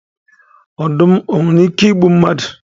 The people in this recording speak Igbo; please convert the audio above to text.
Ọdum nwere ike igbu mmadụ?